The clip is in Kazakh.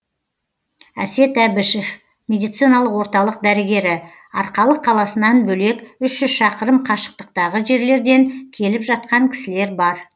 әсет әбішев медициналық орталық дәрігері арқалық қаласынан бөлек үш жүз шақырым қашықтықтағы жерлерден келіп жатқан кісілер бар